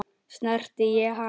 Snerti ég hann?